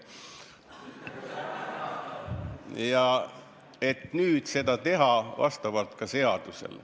Tahetakse seda tegema hakata vastavalt seadusele.